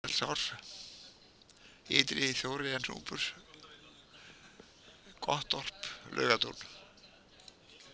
Ytri-Sauðadalsá, Ytri-Þóreyjarnúpur, Gottorp, Laugatún